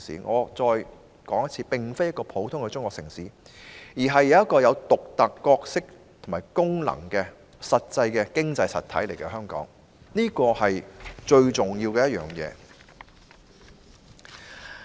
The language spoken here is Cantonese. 我重申，香港並非一個普通的中國城市，而是一個有獨特角色和功能的實際經濟體，這是最重要的一點。